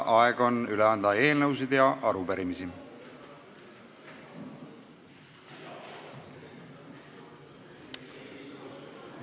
Aeg on üle anda eelnõusid ja arupärimisi.